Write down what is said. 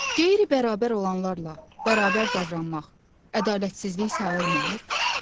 Qeyri-bərabər olanlarla bərabər davranmaq ədalətsizlik sayılmır?